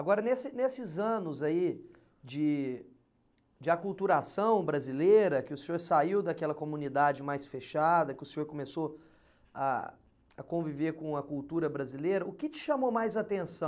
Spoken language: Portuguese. Agora, nesse nesses anos aí de de aculturação brasileira, que o senhor saiu daquela comunidade mais fechada, que o senhor começou a a conviver com a cultura brasileira, o que te chamou mais atenção?